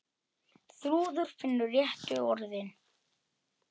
Þrúður finnur réttu orðin.